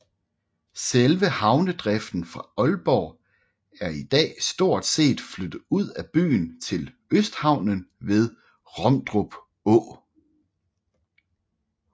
Selve havnedriften fra Aalborg er i dag stort set flyttet ud af byen til Østhavnen ved Romdrup Å